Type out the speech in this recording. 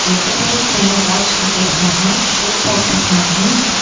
ரெண்டு பேரும் கையில வாட்ச் கட்டி இருக்காங்க ஷூ போட்டு இருக்காங்க.